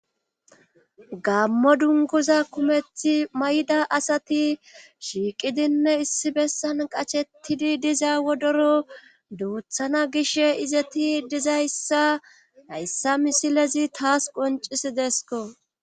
Gammo dunguza kumethi mayda asati shiiqidinne issi bessan qachettidi diza wodoro duuthana gish izeti dizayssa hayssa misilezi taas qoncis deesko.